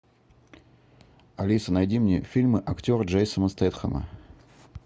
алиса найди мне фильмы актера джейсона стэтхэма